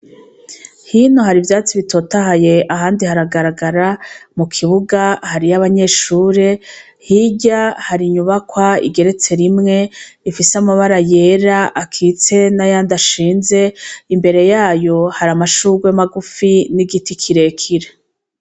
Hino hari ivyatsi bitotahaye ahandi haragaragara mu kibuga hariyo abanyeshure hirya hari inyubakwa igeretse rimwe ifise amabara yera akitse n' ayandi ashinze imbere yaho hari amashugwe magufi n' igiti kire kire.